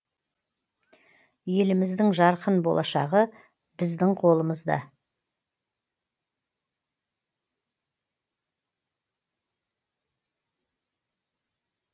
еліміздің жарқын болашағы біздің қолымызда